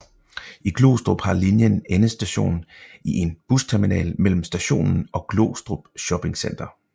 I Glostrup har linjen endestation i en busterminal mellem stationen og Glostrup Shoppingcenter